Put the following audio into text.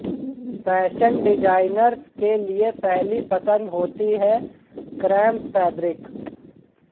fashion designers के लिये पहली पसंद होती है क्रेप फैब्रिक